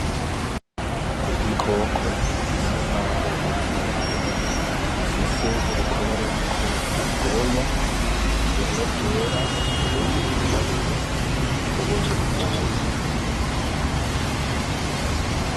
Igikoko gisa nk'aho ari nkende gifise urukoba ruriko ubwoya bumwe bwera ubundi bwirabura n'ubundi buvanze.